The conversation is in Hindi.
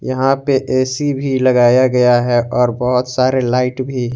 यहां पे ए_सी भी लगाया गया है और बहौत सारे लाइट भी।